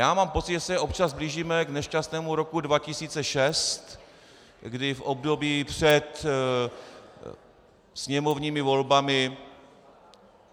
Já mám pocit, že se občas blížíme k nešťastnému roku 2006, kdy v období před sněmovními volbami